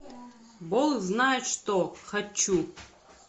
бог знает что хочу